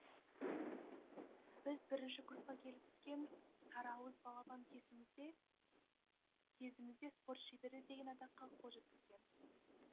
біз бірінші курсқа келіп түскен сарыауыз балапан кезімізде спорт шебері деген атаққа қол жеткізген